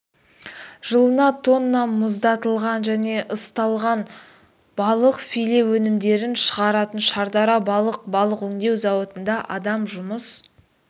жылына тонна мұздатылған және ысталған балық филе өнімдерін шығаратын шардара балық балық өңдеу зауытында адам жұмыс